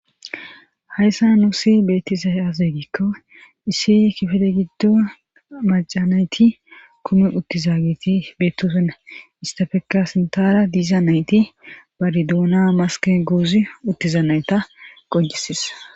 hayssa nuusi beettiza aze gikko issi kifele giddo macanayti kumi uttizagiti beettsenna istafeka sintara diiza nayti bari duuna maske goozi uttiza nayta qooncises